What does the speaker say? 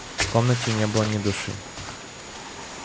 в комнате не было ни души